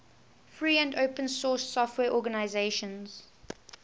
free and open source software organizations